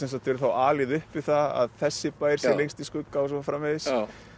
verið alið upp við það að þessi bær sé lengst í skugga og svo framvegis